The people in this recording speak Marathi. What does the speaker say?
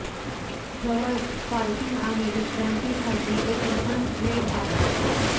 जवळच पार्किंग आणि विश्रांतीसाठी एक लहान ग्लेड आहे